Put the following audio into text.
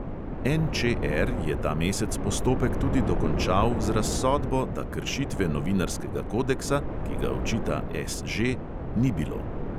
NČR je ta mesec postopek tudi dokončal z razsodbo, da kršitve novinarskega kodeksa, ki ga očita SŽ, ni bilo.